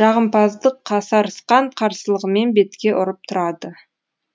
жағымпаздық қасарысқан қарсылығымен бетке ұрып тұрады